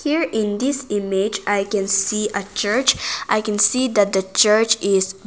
Here in this image i can see a church i can see the church is.